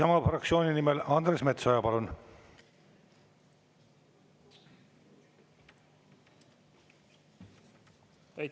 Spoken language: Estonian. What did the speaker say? Isamaa fraktsiooni nimel Andres Metsoja, palun!